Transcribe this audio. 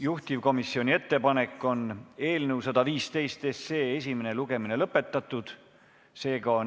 Juhtivkomisjoni ettepanek on eelnõu 115 esimene lugemine lõpetada.